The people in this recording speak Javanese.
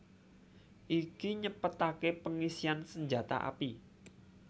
Iki nyepetaké pengisian senjata api